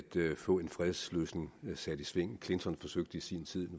få en fredsløsning sat i sving clinton forsøgte i sin tid og